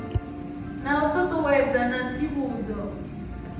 na u ṱuṱuwedza na tsivhudzo